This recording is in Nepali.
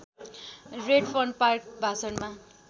Redfern Park भाषणमा